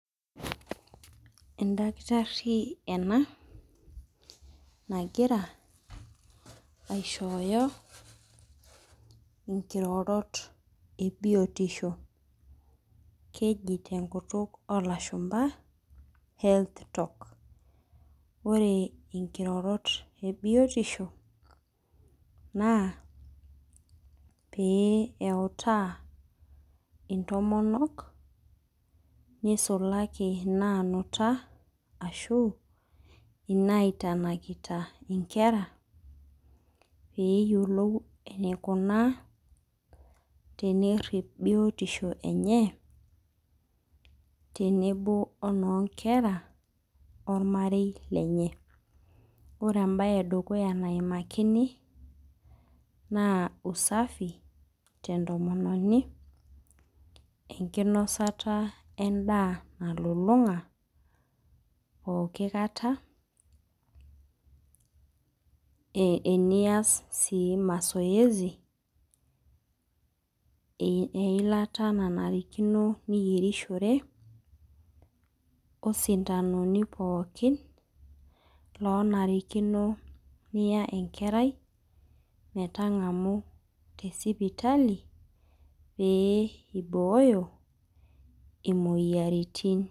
Edakitarri ena, nagira aishooyo inkirorot ebiotisho. Keji tenkutuk olashumpa, health talk. Ore inkirorot ebiotisho, naa, pee eutaa intomonok, nisulaki naanuta ashu inaitanakita inkera, peyiolou enikunaa peerrip biotisho enye, tenebo onoonkera ormarei lenye. Ore ebae edukuya naimakini, naa usafi tentomononi, enkinosata endaa nalulung'a pooki kata, enias si mazoezi, eilata nanarikino niyierishore, osindanoni pookin lonarikino niya enkerai metang'amu tesipitali, pee ibooyo imoyiaritin.